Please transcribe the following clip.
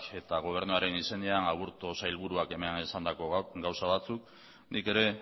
eta gobernuaren izenean aburto sailburuak hemen esandako gauza batzuk nik ere